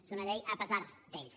és una llei a pesar d’ells